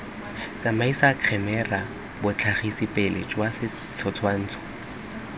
tsamaisa khemera botlhagisipele jwa setshwansho